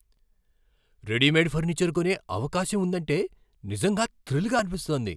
Readymade furniture కొనే అవకాశం ఉందంటే నిజంగా థ్రిల్గా అనిపిస్తోంది.